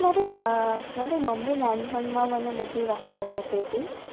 મારી મમ્મી મને નાનપણ મા બધી વાર્તા કહતીતિ